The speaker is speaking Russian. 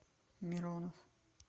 миронов